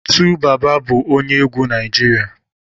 2baba bu onye egwu Naijiria